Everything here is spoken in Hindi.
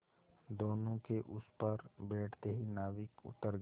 दोेनों के उस पर बैठते ही नाविक उतर गया